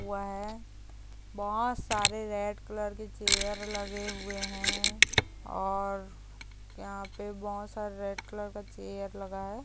वय बहुत सारे रेड कलर के चेयर लगे हुवे हैं और यहाँ पे बहुत सारे रेड कलर का चेयर लगा हैं।